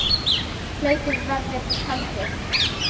Hlaupið verður haldið.